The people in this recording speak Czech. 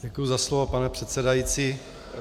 Děkuji za slovo, pane předsedající.